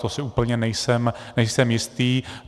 To si úplně nejsem jistý.